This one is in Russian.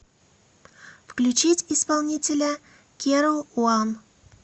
включить исполнителя керо уан